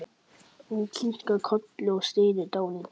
Hún kinkar kolli og stynur dálítið.